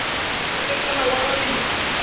na e fela o arabile